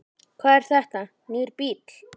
Hvað, er þetta nýr bíll?